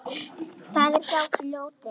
Það er hjá fljóti.